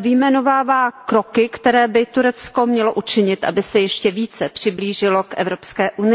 vyjmenovává kroky, které by Turecko mělo učinit, aby se ještě více přiblížilo k EU.